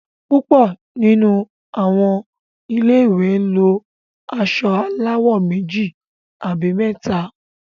púpọ nínú àwọn ilé ìwé lọ aṣọ aláwò méjì àbí méta.